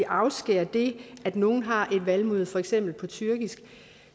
afskære det at nogle har et valgmøde på for eksempel tyrkisk